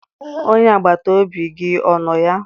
Onye agbata obi gị ọ nọ ya?